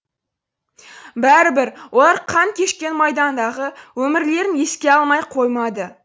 бәрібір олар қан кешкен майдандағы өмірлерін еске алмай қоймады